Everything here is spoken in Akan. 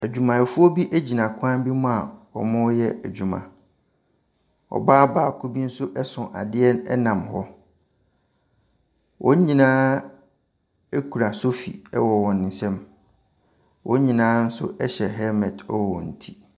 Adwumayɛfoɔ bi gyina kwan bi mu a wɔreyɛ adwuma. Ɔbaa baako bi nso so adeɛ nam hɔ. Wɔn nyinaa kura sofi wɔ wɔn nsam. Wɔn nyinaa nso hyɛ helmet wɔ wɔn ti.